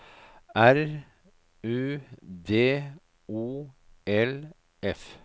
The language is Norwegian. R U D O L F